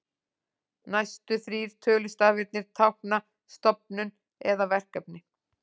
Næstu þrír tölustafirnir tákna stofnun eða verkefni.